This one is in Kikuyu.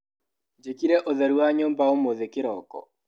Njĩkire ũtheru wa nyũmba ũmũthĩ kĩroko.